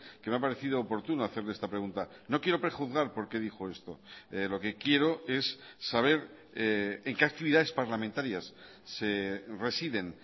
que me ha parecido oportuno hacerle esta pregunta no quiero prejuzgar por qué dijo esto lo que quiero es saber en qué actividades parlamentarias se residen